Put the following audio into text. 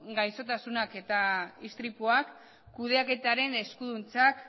gaixotasunak eta istripuak kudeaketaren eskuduntzak